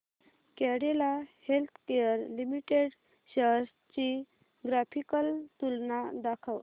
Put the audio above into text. Cadila healthcare limited shares ची graphical तुलना दाखव